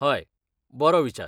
हय, बरो विचार.